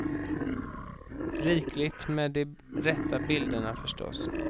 Rikligt med de rätta bilderna, förstås.